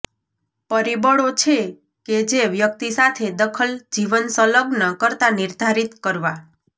પરિબળો છે કે જે વ્યક્તિ સાથે દખલ જીવન સંલગ્ન કરતાં નિર્ધારિત કરવા